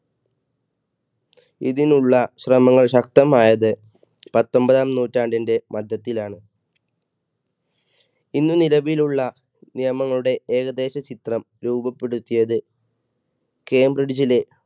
ഇതിനുള്ള ശ്രമങ്ങൾ ശക്തമായത് പത്തൊമ്പതാം നൂറ്റാണ്ടിന്റെ മധ്യത്തിലാണ് ഇന്ന് നിലവിലുള്ള നിയമങ്ങളുടെ ഏകദേശം ചിത്രം രൂപപ്പെടുത്തിയത് കേംബ്രിഡ്ജിലെ,